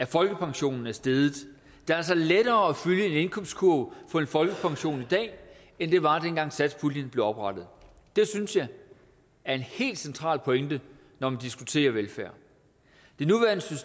folkepensionen er steget det er altså lettere at fylde en indkøbskurv for en folkepension i dag end det var dengang satspuljen blev oprettet det synes jeg er en helt central pointe når man diskuterer velfærd